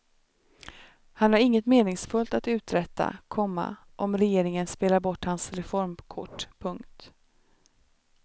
Han har inget meningsfullt att uträtta, komma om regeringen spelar bort hans reformkort. punkt